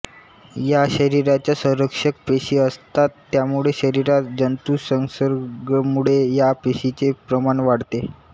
या शरीराच्या संरक्षक पेशी असतात त्यामुळे शरीरात जंतुसंसर्गमुळे या पेशींचे प्रमाण वाढते